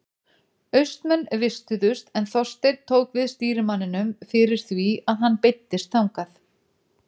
Austmenn vistuðust en Þorsteinn tók við stýrimanninum fyrir því að hann beiddist þangað.